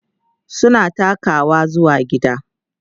suna takawa zuwa gida